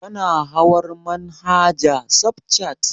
Kana hawar manhaja safcat?